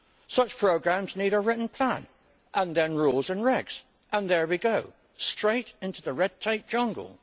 Such programmes need a written plan, and then rules and regulations, and there we go straight into the red tape jungle.